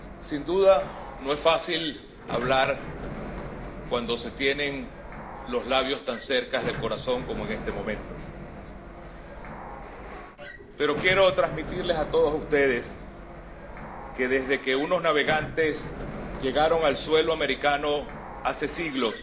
Sin duda, no es fácil hablar cuando se tienen los labios tan cerca del corazón como en este momento, pero quiero transmitirles a todos ustedes que, desde que unos navegantes llegaron a suelo americano hace siglos,